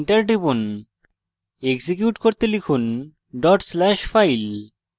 enter টিপুন execute করতে লিখুন/file dot slash file